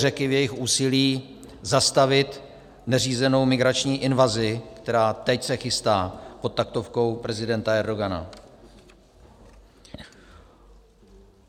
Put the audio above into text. Řeky v jejich úsilí zastavit neřízenou migrační invazi, která teď se chystá pod taktovkou prezidenta Erdogana.